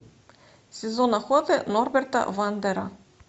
сезон охоты норберта вандера